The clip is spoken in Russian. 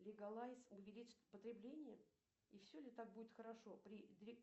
лигалайз увеличит потребление и все ли так будет хорошо при